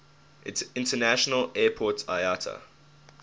international airport iata